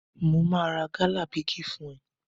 Mo máa ra gálà bígì fún ẹ.